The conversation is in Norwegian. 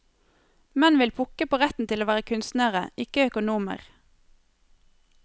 Menn vil pukke på retten til å være kunstnere, ikke økonomer.